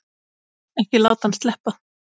Ekki láta hann sleppa!